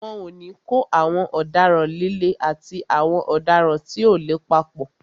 Wọn ò ní kó àwọn ọ̀daràn líle àti àwọn ọ̀daràn tí ò le papọ̀.